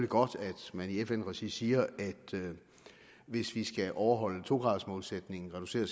godt at man i fn regi siger at hvis vi skal overholde to graders målsætningen og reducere